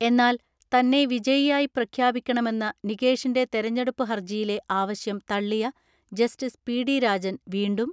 എന്നാൽ തന്നെ വിജയി യായി പ്രഖ്യാപിക്കണമെന്ന നികേഷിന്റെ തെരെഞ്ഞെടുപ്പ് ഹർജി യിലെ ആവശ്യം തള്ളിയ ജസ്റ്റിസ് പി.ഡി രാജൻ വീണ്ടും